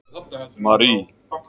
Marie